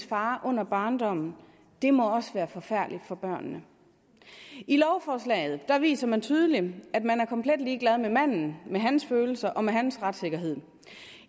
far under barndommen det må også være forfærdeligt for børnene i lovforslaget viser man tydeligt at man er komplet ligeglad med manden med hans følelser og med hans retssikkerhed